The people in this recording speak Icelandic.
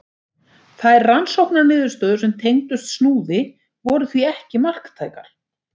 Þær rannsóknarniðurstöður sem tengdust Snúði voru því ekki marktækar.